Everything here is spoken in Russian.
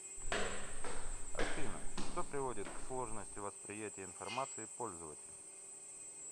афина что приводит к сложности восприятия информации пользователем